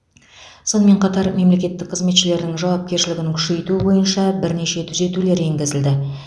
сонымен қатар мемлекеттік қызметшілердің жауапкершілігін күшейту бойынша бірнеше түзетулер енгізілді